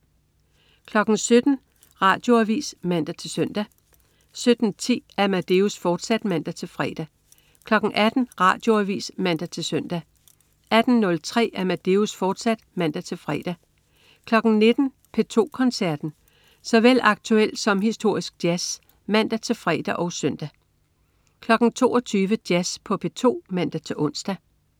17.00 Radioavis (man-søn) 17.10 Amadeus, fortsat (man-fre) 18.00 Radioavis (man-søn) 18.03 Amadeus, fortsat (man-fre) 19.00 P2 Koncerten. Såvel aktuel som historisk jazz (man-fre og søn) 22.00 Jazz på P2 (man-ons)